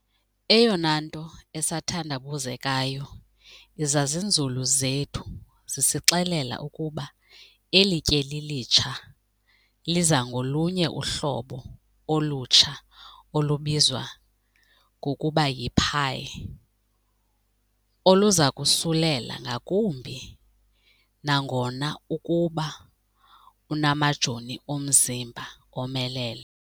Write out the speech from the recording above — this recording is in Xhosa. "Eyona nto esathandabuzekayo izazinzulu zethu zisixelela ukuba eli tyeli litsha liza ngolunye uhlobo olutsha olubizwa ngokuba yi-Pi, oluzakusulela ngakumbi nangona ukuba unamajoni omzimba omelele."